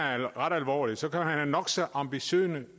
ret alvorligt så kan man have nok så ambitiøse